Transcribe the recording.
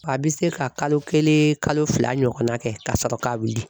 A bɛ se ka kalo kelen kalo fila ɲɔgɔnna kɛ ka sɔrɔ ka wuli.